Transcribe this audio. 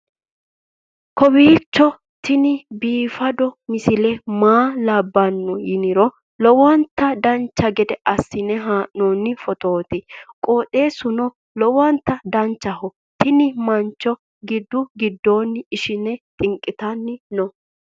kowiicho tini biiffanno misile maa labbanno yiniro lowonta dancha gede assine haa'noonni foototi qoxeessuno lowonta danachaho. tini mancho gidu gidonni ishshine xinqitanni no